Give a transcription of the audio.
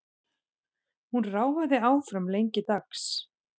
Hún ráfaði áfram lengi dags.